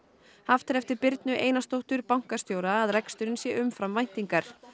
haft er eftir Birnu Einarsdóttur bankastjóra að reksturinn sé umfram væntingar